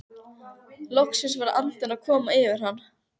Loksins var andinn að koma yfir hann!